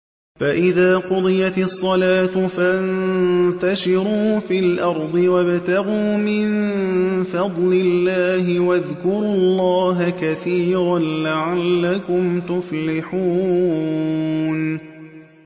فَإِذَا قُضِيَتِ الصَّلَاةُ فَانتَشِرُوا فِي الْأَرْضِ وَابْتَغُوا مِن فَضْلِ اللَّهِ وَاذْكُرُوا اللَّهَ كَثِيرًا لَّعَلَّكُمْ تُفْلِحُونَ